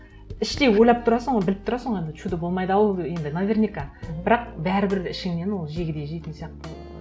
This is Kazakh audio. іштей ойлап тұрасың ғой біліп тұрасың ғой енді чудо болмайды ау енді наверняка мхм бірақ бәрібір ішіңнен ол жегідей жейтін сияқты